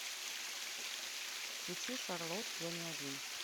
включи шарлот я не один